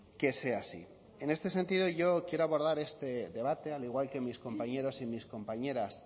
que sea así en este sentido yo quiero abordar este debate al igual que mis compañeros y mis compañeras